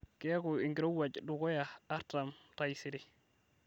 keeku enkirowuaj dukuya eartam taisere